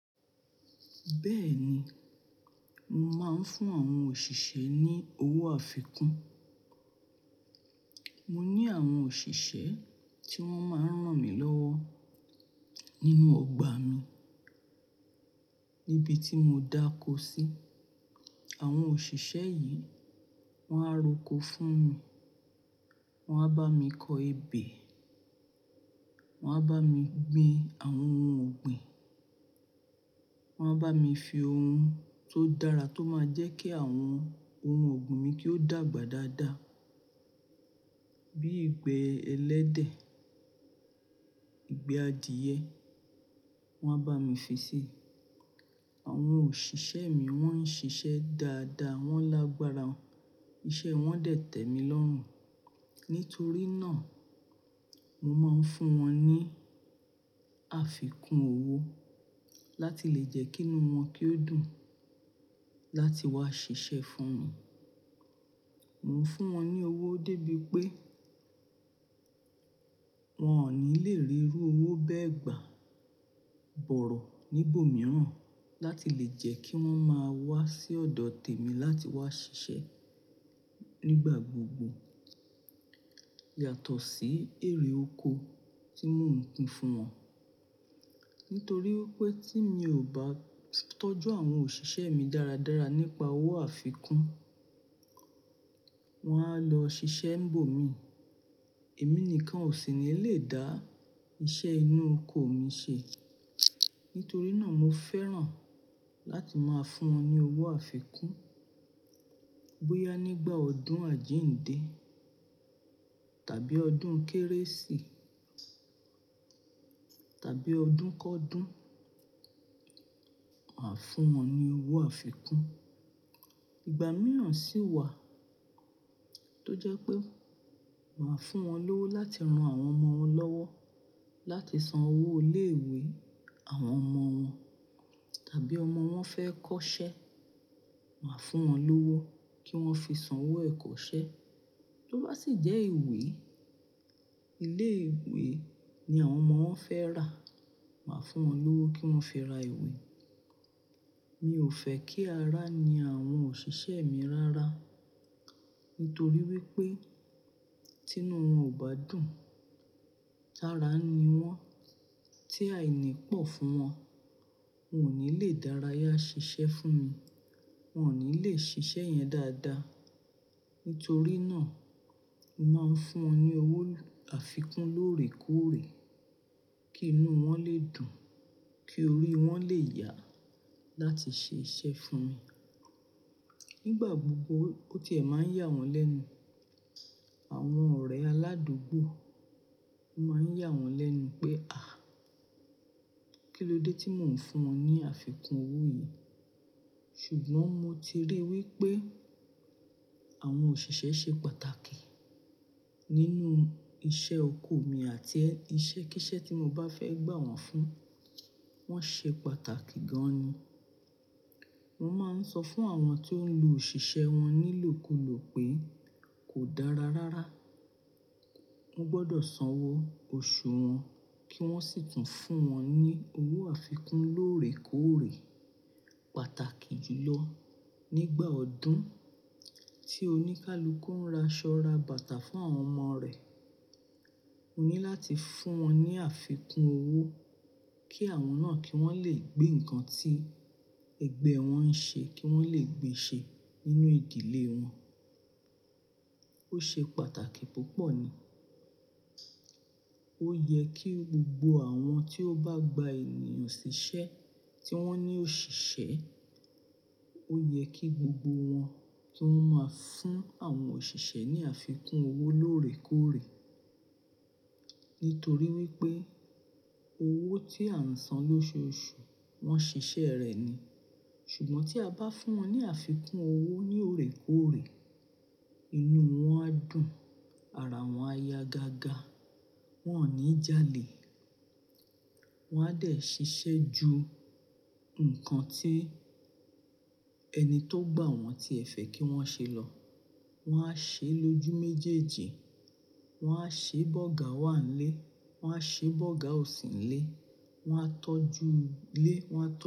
Bẹ́ẹ̀ni, mo máa ń fún àwọn òṣìṣẹ́ ní owó àfikún. Mo ní àwọn òṣìṣẹ́ tí wọ́n máa ń ràn mí lọ́wọ́ nínú ọgbà mi níbi tí mo dàkọ sí. Àwọn òṣìṣẹ́ yìí, wọ́n á roko fún mi, wọ́n á bá mi kọ ebè, wọ́n á bá mi gbin àwọn ohun ọ̀gbìn, wọ́n á bá mi fi ohun tó dára tó máa jẹ́ kí àwọn ohun ọ̀gbìn mi kí ó dàgbà dáadáa. Bí igbẹ́ ẹlẹ́dẹ̀, ìgbẹ́ adìẹ, wọ́n á bá mi fi sí. Àwọn òṣìṣẹ́ mi wọ́n ń ṣiṣẹ́ dáadáa, wọ́n lágbára, iṣẹ́ wọn dẹ̀ tẹ́mi lọ́rùn. Nítorí náà, mo máa ń fún wọn ní àfikún owó láti lè jẹ́ kí inú wọn kí ó dùn láti wá ṣiṣẹ́ fún mi. Mo ń fún wọn ní owó dé bí pé wọ́n ò ní lè rí iru owó bẹ́ẹ̀ gbà bọ̀rọ̀ níbòmíràn láti lè jẹ́ kí wọ́n máa wá sí ọ̀dọ̀ tèmi láti wá ṣiṣẹ́ nígbà gbogbo. Yàtọ̀ sí èrè oko tí mò ń pín fún wọn. Nítorí pé tí mi ò bá tọ́jú àwọn òṣìṣẹ́ mi dáradára nípa owó àfikún, wọ́n á lọ ṣiṣẹ́ ńbò mi. Èmi nìkan ò sì ní lè dá iṣẹ́ inú oko mi ṣe. Nítorí náà mo fẹ́ràn láti máa fún wọn ní owó àfikún. Bóyá nígbà ọdún àjíǹde tàbí ọdún kérésì tàbí ọdún kọ́dún, màá fún wọn ní owó àfikún. Ìgbà mìíràn sì wà tó jẹ́ pé màá fún wọn lówó láti ran àwọn ọmọ wọn lọ́wọ́, láti san owó ilé-ìwé àwọn ọmọ wọn tàbí ọmọ wọn fẹ́ kọ́ṣẹ́, màá fún wọn lówó kí wọ́n fi san owó ẹ̀kọ́ṣẹ́. Tó bá sì jẹ́ ìwé, ilé ìwé ni àwọn ọmọ wọn fẹ́ rà, màá fún wọn lówó kí wọ́n fi ra ìwé. Mi ò fẹ́ kí ará ni àwọn òṣìṣẹ́ mi rárá. Nítorí wípé tí inú wọn ò bá dùn, tara ni wọ́n tí àìní pọ̀ fún wọn, wọn ò ní lè dárayá ṣiṣẹ́ fún mi, wọn ò ní lè ṣiṣẹ́ yẹn dáadáa. Nítorí náà, màá ń fún wọn ní owó àfikún lóòrèkóòrè kí inú wọn lè dùn, kí orí wọn lè yà láti ṣe iṣẹ́ fún mi. Nígbà gbogbo ó tiẹ̀ máa ń yà wọ́n lẹ́nu. Àwọn ọ̀rẹ́ aládùúgbò o máa ń yà wọ́n lẹ́nu pé, "à, kí ló dé tí mò ń fún wọn ní àfikún owó yìí?" ṣùgbọ́n mo ti ríi wípé àwọn òṣìṣẹ́ ṣe pàtàkì nínú iṣẹ́ oko mi àti iṣẹ́ kísẹ́ tí mo bá fẹ́ gbà wọ́n fún, wọ́n ṣe pàtàkì gan ni. Mo máa ń sọ fún àwọn tó ń lo òṣìṣẹ́ wọn nílòkulò pé kò dára rárá. Wọ́n gbọdọ̀ san owó oṣù wọn kí wọ́n sì tún fún wọn ní owó àfikún lóòrèkóòrè pàtàkì jùlọ nígbà ọdún tí oníkálukú ń ra ṣọ́ra bàtà fún àwọn ọmọ rẹ̀. Mo ní láti fún wọn ní àfikún owó kí àwọn náà kí wọ́n lè gbé nǹkan tí ẹgbẹ́ wọn ń ṣe kí wọ́n lè gbe ṣe nínú ìdílé wọn. Ó ṣe pàtàkì púpọ̀ ni. Ó yẹ kí gbogbo àwọn tí ó bá gba ènìyàn ṣiṣẹ́ tí wọ́n ní òṣìṣẹ́, ó yẹ kí gbogbo wọn kí wọ́n máa fún àwọn òṣìṣẹ́ ní àfikún owó lóòrèkóòrè. Nítorí wípé owó tí à ń san lóṣù oṣù wọ́n ṣiṣẹ́ rẹ̀ ni. Ṣùgbọ́n tí a bá fún wọn ní àfikún owó ní òòrèkóòrè, inú wọn á dùn, ara wọn á ya gaga, wọn ò ní jalè. Wọn á dẹ̀ ṣiṣẹ́ ju nǹkan tí ẹni tó gbà wọ́n tí ẹ̀fẹ̀ kí wọ́n ṣe lọ. Wọn á ṣe lójú méjèèjì. Wọn á ṣe bọ́gà wá nílé, wọn á ṣe bọ́gà ò sì nílé, wọn á tọ́jú ilé, wọn á tọ́jú.